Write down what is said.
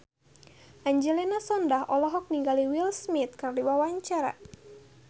Angelina Sondakh olohok ningali Will Smith keur diwawancara